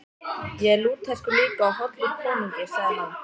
Ég er Lúterskur líka og hollur konungi, sagði hann.